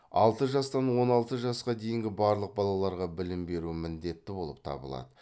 алты жастан он алты жасқа дейінгі барлық балаларға білім беру міндетті болып табылады